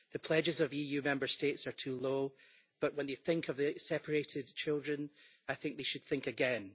The pledges of EU Member States are too low, but when you think of the separated children I think they should think again.